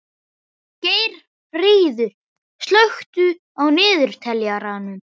Geirríður, slökktu á niðurteljaranum.